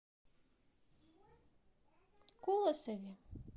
колосове